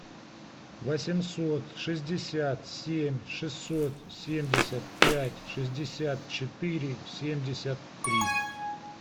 восемьсот шестьдесят семь шестьсот семьдесят пять шестьдесят четыре семьдесят три